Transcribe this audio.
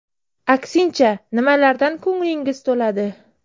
Aksincha, nimalardan ko‘nglingiz to‘ladi?